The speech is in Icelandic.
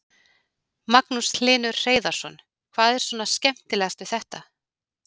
Magnús Hlynur Hreiðarsson: Hvað er svona skemmtilegast við þetta?